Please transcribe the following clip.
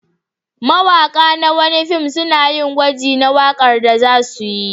Mawaƙa na wani fim suna yin gwaji na waƙar da za su yi.